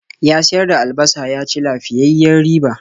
Ya siyar da albasa ya ci lafiyayyiyar riba.